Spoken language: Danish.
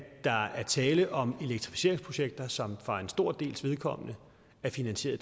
der er tale om elektrificeringsprojekter som for en stor dels vedkommende er finansieret